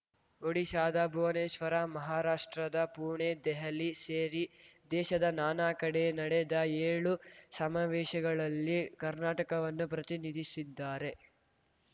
ಒಡಿಶಾದ ಭುವನೇಶ್ವರ ಮಹಾರಾಷ್ಟ್ರದ ಪುಣೆ ದೆಹಲಿ ಸೇರಿ ದೇಶದ ನಾನಾ ಕಡೆ ನಡೆದ ಏಳು ಸಮಾವೇಶಗಳಲ್ಲಿ ಕರ್ನಾಟಕವನ್ನು ಪ್ರತಿನಿಧಿಸಿದ್ದಾರೆ